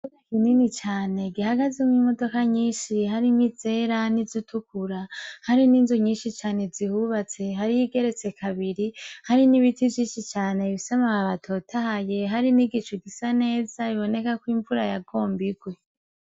Ikibuga kinini cane gihagazemwo imodoka nyinshi harimwizera n'izitukura, hari ninzu nyinshi cane zihubatse, hari iyigeretse kabiri, hari n'ibiti vyinshi cane bifise amababi atotahaye, hari nigicu gsa neza biboneka ko imvura yagomba igwe.